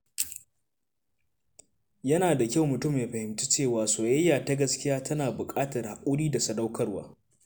Yana da kyau mutum ya fahimci cewa soyayya ta gaskiya tana buƙatar haƙuri da sadaukarwa.